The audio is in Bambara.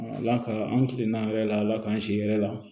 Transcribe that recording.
Ala ka an kilen an yɛrɛ la ala k'an si yɛrɛ la